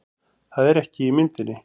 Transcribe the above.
Það er ekki í myndinni